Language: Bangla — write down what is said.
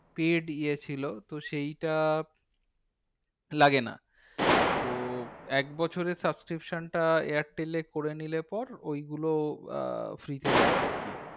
Paid ইয়ে ছিল। তো সেইটা লাগেনা। তো একবছরের subscription টা airtel করে নিলে পর, ঐগুলো আহ free তে দেয় আরকি।